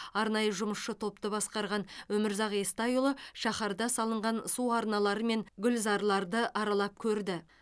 арнайы жұмысшы топты басқарған өмірзақ естайұлы шаһарда салынған су арналары мен гүлзарларды аралап көрді